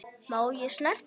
Má ég snerta?